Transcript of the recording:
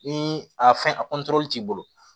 Ni a fɛn a t'i bolo